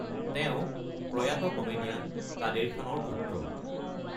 তেওঁ প্ৰয়াত কমেডিয়ান কাদেৰ খানৰ পুত্ৰ।